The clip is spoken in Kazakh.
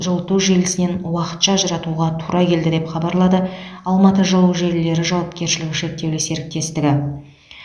жылыту желісінен уақытша ажыратуға тура келді деп хабарлады алматы жылу желілері жауапкершілігі шектеулі серіктестігі